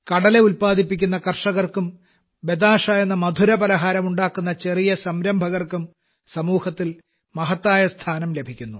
കടല ഉല്പാദിപ്പിക്കുന്ന കൃഷിക്കാർക്കും ബതാഷ എന്ന മധുരപലഹാരം ഉണ്ടാക്കുന്ന ചെറിയ സംരംഭകർക്കും സമൂഹത്തിൽ മഹത്തായ സ്ഥാനം ലഭിക്കുന്നു